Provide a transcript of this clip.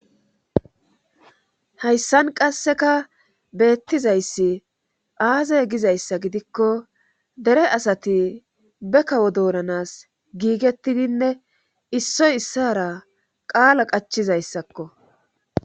Hayssan qasseka beettizayssi aazey gizayssa gidikko dere asati be kawo doonanas giigettidinne issoy issara qaala qachizayssakko.